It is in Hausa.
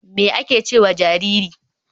me ake ce ma jariri giwa?